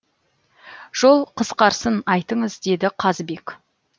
жол қысқарсын айтыңыз деді қазыбек